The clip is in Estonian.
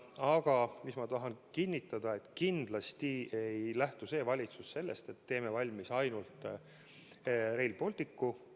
Aga ma tahan kinnitada, et kindlasti ei lähtu valitsus sellest, et teeme valmis ainult Rail Balticu.